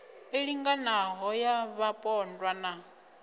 i linganaho ya vhapondwa na